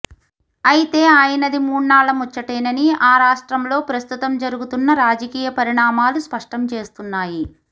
అయితే ఆయనది మూనాళ్ళ ముచ్చటేనని ఆ రాష్ట్రంలో ప్రస్తుతం జరుగుతున్న రాజకీయ పరిణామాలు స్పష్టం చేస్తున్నాయి